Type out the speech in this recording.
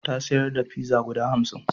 Ya sayar da pizza guda hamsin.